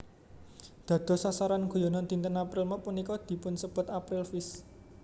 Dados sasaran guyonan dinten April Mop punika dipunsebat April Fish